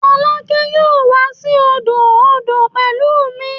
Folake yoo wa si odo odo pẹlu mi